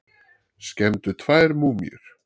Skemmdu tvær múmíur